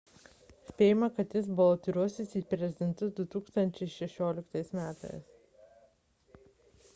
spėjama kad jis balotiruosis į prezidentus 2016 m